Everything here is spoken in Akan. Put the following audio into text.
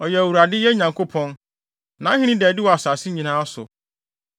Ɔyɛ Awurade, yɛn Nyankopɔn; nʼahenni da adi wɔ asase so nyinaa.